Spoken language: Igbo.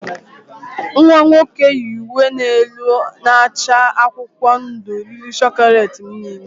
Nwa nwoke yi uwe elu na-acha akwụkwọ ndụ riri chocolate m niile